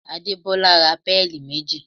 Adebola ra péèlì méjì